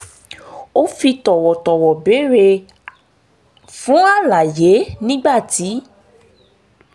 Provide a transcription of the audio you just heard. ó fi tọ̀wọ̀tọ̀wọ̀ béèrè fún àlàyé nígbà tí